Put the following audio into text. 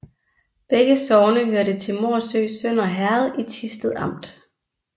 Begge sogne hørte til Morsø Sønder Herred i Thisted Amt